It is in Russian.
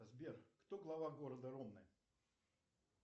сбер кто глава города ромны